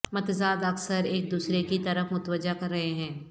متضاد اکثر ایک دوسرے کی طرف متوجہ کر رہے ہیں